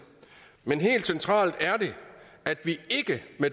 men helt centralt er det at vi